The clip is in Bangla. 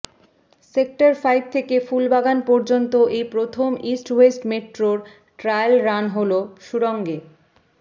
সেক্টর ফাইভ থেকে ফুলবাগান পর্যন্ত এই প্রথম ইস্ট ওয়েস্ট মেট্রোর ট্রায়াল রান হল সুড়ঙ্গে